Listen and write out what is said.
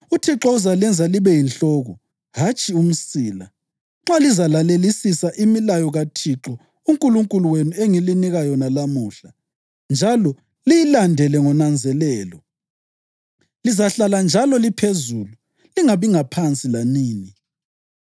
UThixo uzalenza libe yinhloko, hatshi umsila. Nxa lizalalelisisa imilayo kaThixo uNkulunkulu wenu engilinika yona lamuhla njalo liyilandele ngonanzelelo, lizahlala njalo liphezulu, lingabi ngaphansi lanini.